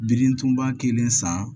Birintuban kelen san